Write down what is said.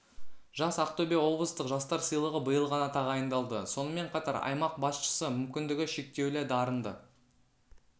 жас ақтөбе облыстық жастар сыйлығы биыл ғана тағайындалды сонымен қатар аймақ басшысы мүмкіндігі шектеулі дарынды